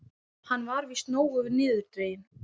Hann var víst nógu niðurdreginn.